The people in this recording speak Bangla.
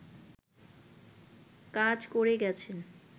কাজ করে গেছেন